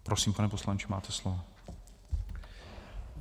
Prosím, pane poslanče, máte slovo.